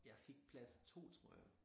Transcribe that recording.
Jeg fik plads 2 tror jeg